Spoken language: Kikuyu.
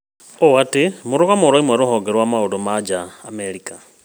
Ũũ ti mũrũgamo ũrauma rũhonge rwa maũndũ ma nja Amerika